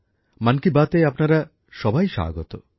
মন কি বাতে আপনারা সবাই স্বাগত